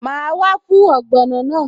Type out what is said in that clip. Màá wá fún ogbono náà